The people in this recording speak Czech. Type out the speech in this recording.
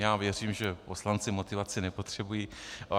Já věřím, že poslanci motivaci nepotřebují.